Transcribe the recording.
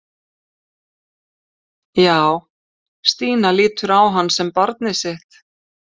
Já, Stína lítur á hann sem barnið sitt.